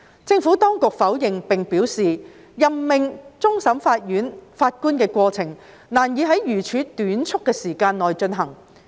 政府當局否認並表示，任命終審法院法官的過程難以在如此短促的時間內進行。